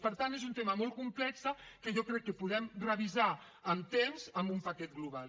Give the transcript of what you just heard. per tant és un tema molt complex que jo crec que podem revisar amb temps amb un paquet global